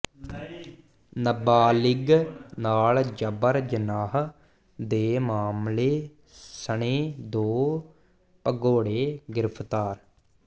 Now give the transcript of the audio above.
ਨਾਬਾਲਿਗ ਨਾਲ ਜਬਰ ਜਨਾਹ ਦੇ ਮਾਮਲੇ ਸਣੇ ਦੋ ਭਗੌੜੇ ਗਿ੍ਫ਼ਤਾਰ